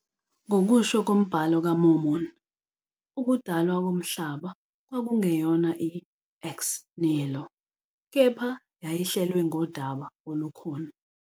Ngokusho kombhalo kaMormon, ukudalwa koMhlaba kwakungeyona i- "ex nihilo", kepha yayihlelwe ngodaba olukhona.